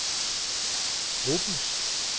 gruppens